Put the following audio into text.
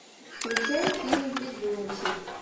включай фильм везунчик